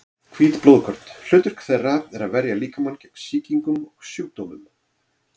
Hvít blóðkorn: hlutverk þeirra er að verja líkamann gegn sýkingum og sjúkdómum.